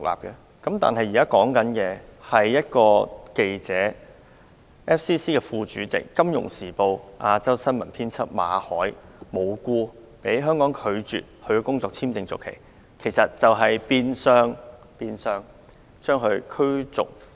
香港政府無故拒絕香港外國記者會第一副主席、《金融時報》亞洲新聞編輯馬凱的工作簽證續期申請，變相將他驅逐離港。